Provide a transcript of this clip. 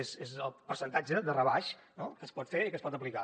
és el percentatge de rebaix no que es pot fer i que es pot aplicar